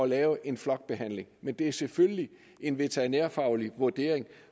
lave en flokbehandling men det er selvfølgelig en veterinærfaglig vurdering